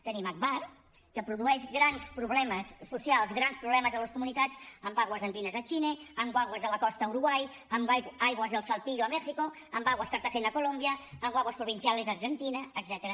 tenim agbar que produeix grans problemes socials grans problemes a les comunitats amb aguas andinas a xile amb aguas de la costa a uruguai amb aguas de saltillo a mèxic amb aguas de cartagena a colòmbia amb aguas provinciales a argentina etcètera